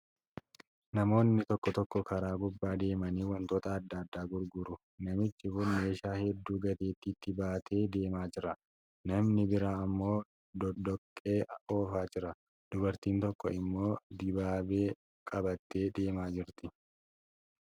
Namoonni tokko tokko karaa gubbaa deemanii wantoota adda addaa gurguru. Namichi kun meeshaa hedduu gateettiitti baatee deemaa jira. Namni biraan immoo doqdoqqee ofaa jira. Dubartiin tokko immoo dibaabee qabattee deemaa jirti